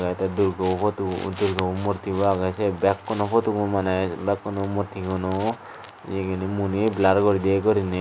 lagette durgobo photu durgobo murtibo agey sei bekkuno photobo mujunge bekkuno motinguno yegeni muoni blar guri diye gurine.